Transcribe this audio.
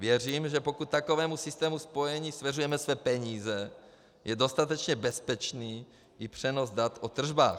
Věřím, že pokud takovému systému spojení svěřujeme své peníze, je dostatečně bezpečný i přenos dat o tržbách.